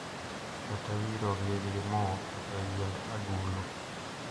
Kata wirogi gi mo kata gi yiend agulu.